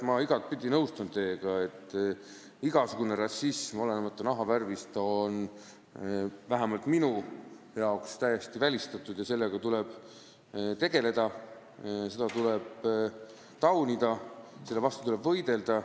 Ma igatepidi nõustun teiega, et igasugune rassism, olenemata nahavärvist, peab olema täiesti välistatud ja sellega tuleb tegeleda, seda tuleb taunida, selle vastu tuleb võidelda.